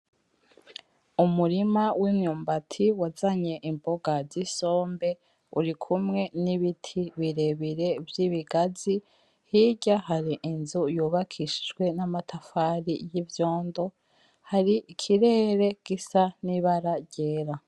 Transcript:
Umurima w'imyumbati wazanye imboga zisombe urikumwe nibiti birebire vy'ibigazi hirya hari inzu yubakishijwe amatafari y'ivyondo, hari ikirere gisa nibara ryera.